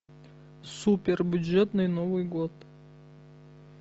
супер бюджетный новый год